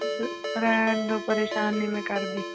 ਰਹਿਣ ਦਓ ਪਰੇਸਾਨ ਨੀ ਮੈਂ ਕਰਦੀ